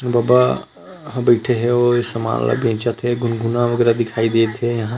बाबा हा बईठे हे अउ ए सामान बेचत हे गुनगुना वगेरा दिखाई देत हे यहाँ--